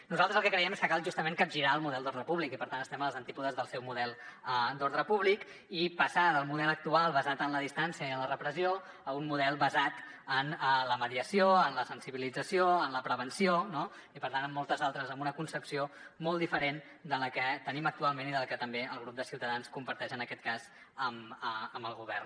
nosaltres el que creiem és que cal justament capgirar el model d’ordre públic i per tant estem als antípodes del seu model d’ordre públic i passar del model actual basat en la distància i en la repressió a un model basat en la mediació en la sensibilització en la prevenció no i per tant amb una concepció molt diferent de la que tenim actualment i de la que també el grup de ciutadans comparteix en aquest cas amb el govern